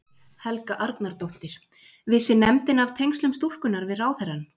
Helga Arnardóttir: Vissi nefndin af tengslum stúlkunnar við ráðherrann?